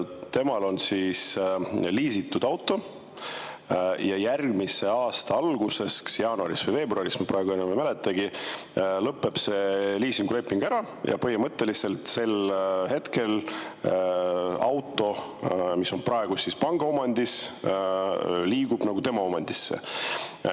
Temal on liisitud auto ja järgmise aasta alguses, kas jaanuaris või veebruaris, ma praegu enam ei mäleta, lõpeb see liisinguleping ära ja põhimõtteliselt auto, mis on praegu panga omandis, liigub tema omandisse.